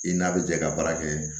I n'a bɛ jɛ ka baara kɛ